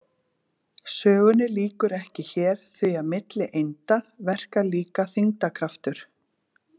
Sögunni lýkur ekki hér því að milli einda verkar líka þyngdarkraftur.